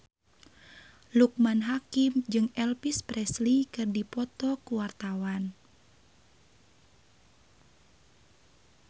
Loekman Hakim jeung Elvis Presley keur dipoto ku wartawan